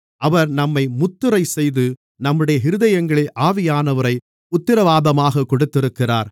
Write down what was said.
அவர் நம்மை முத்திரை செய்து நம்முடைய இருதயங்களில் ஆவியானவரை உத்திரவாதமாகக் கொடுத்திருக்கிறார்